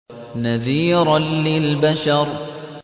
نَذِيرًا لِّلْبَشَرِ